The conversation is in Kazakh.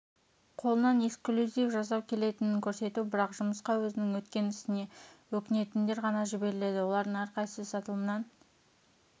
қолынан эксклюзив жасау келетінінкөрсету бірақ жұмысқа өзінің өткен ісіне өкінетіндер ғана жіберіледі олардың әрқайсысы сатылымнан